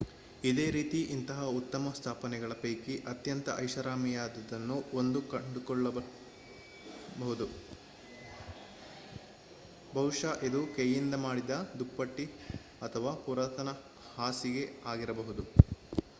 ಇದೇ ರೀತಿ ಇಂತಹ ಉತ್ತಮ ಸ್ಥಾಪನೆಗಳ ಪೈಕಿ ಅತ್ಯಂತ ಐಷಾರಾಮಿಯಾದುದನ್ನು1 ಕಂಡುಕೊಲ್ಳಬಹುದು ಬಹುಶಃ ಇದು ಕೈಯಿಂದ ಮಾಡಿದ ದುಪ್ಪಟಿ ಅಥವಾ ಪುರಾತನ ಹಾಸಿಗೆ ಆಗಿರಬಹುದು